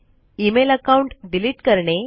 email account delete करणे